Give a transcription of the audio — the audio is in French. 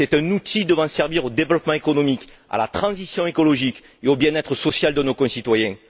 C'est un outil devant servir au développement économique, à la transition écologique et au bien être social de nos concitoyens.